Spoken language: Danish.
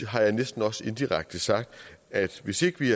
har jeg næsten også indirekte sagt at hvis ikke vi